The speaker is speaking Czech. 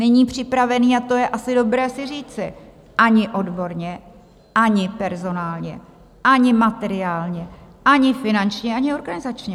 Není připravený - a to je asi dobré si říci - ani odborně, ani personálně, ani materiálně, ani finančně, ani organizačně.